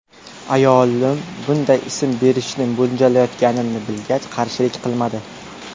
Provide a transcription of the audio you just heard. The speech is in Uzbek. Ayolim bunday ism berishni mo‘ljallayotganimni bilgach, qarshilik qilmadi.